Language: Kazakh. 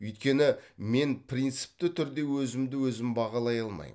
өйткені мен принципті түрде өзімді өзім бағалай алмаймын